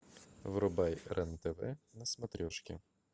врубай рен тв на смотрешке